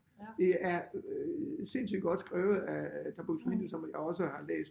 Det er øh sindssygt godt skrevet af Tom Buk-Swienty som jeg også har læst